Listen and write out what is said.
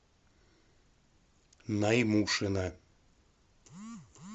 наймушина